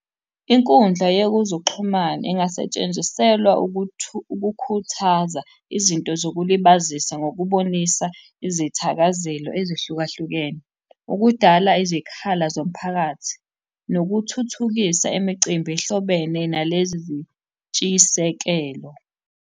Inkundla yekuzixhumana ingasetshenziselwa ukukhuthaza izinto zokulibazisa ngokubonisa izithakazelo ezihlukahlukene ukudala izikhala zomphakathi nokuthuthukisa imicimbi ehlobene nalezi zintshisekelo.